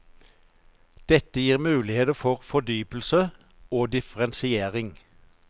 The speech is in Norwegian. Dette gir muligheter for fordypelse og differensiering.